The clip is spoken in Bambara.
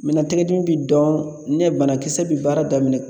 Mina tɛgɛ dimi bi dɔn ne banakisɛ bi baara daminɛ